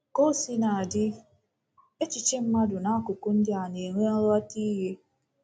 Ka o sina dị, echiche mmadụ n’akụkụ ndị a na-enwe nghọtahie.